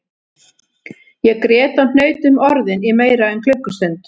Ég grét og hnaut um orðin í meira en klukkustund